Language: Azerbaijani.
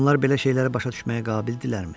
Onlar belə şeyləri başa düşməyə qabildirlərmi?